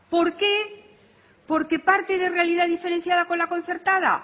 por qué porque parte de una realidad diferenciada con la concertada